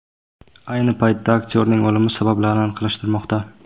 Ayni paytda aktyorning o‘limi sabablari aniqlashtirilmoqda.